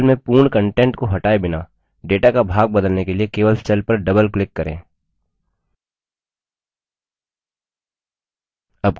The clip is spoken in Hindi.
cell में पूर्ण contents को हटाए बिना data का भाग बदलने के लिए केवल cell पर double click करें